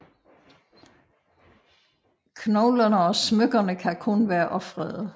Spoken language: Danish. Knoglerne og smykkerne kan kun være ofrede